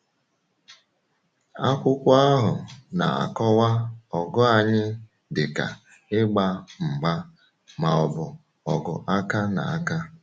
Akwụkwọ ahụ na-akọwa ọgụ anyị dịka “ịgba mgba,” ma ọ bụ ọgụ aka na aka. um